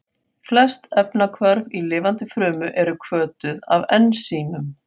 Flest efnahvörf í lifandi frumu eru hvötuð af ensímum.